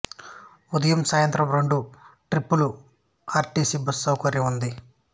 ఉదయం సాయంత్రం రెండు ట్రిప్పులు ఆర్ టి సి బస్సు సౌకర్యం ఉంది